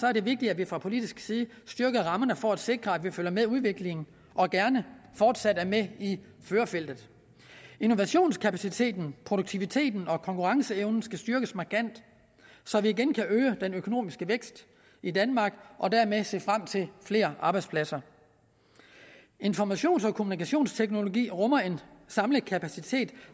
er det vigtigt at vi fra politisk side styrker rammerne for at sikre at vi følger med udviklingen og gerne fortsat er med i førerfeltet innovationskapaciteten produktiviteten og konkurrenceevnen skal styrkes markant så vi igen kan øge den økonomiske vækst i danmark og dermed se frem til flere arbejdspladser informations og kommunikationsteknologi rummer en samlet kapacitet